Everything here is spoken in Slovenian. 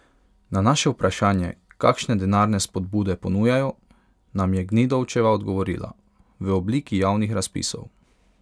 Na naše vprašanje, kakšne denarne spodbude ponujajo, nam je Gnidovčeva odgovorila: "V obliki javnih razpisov.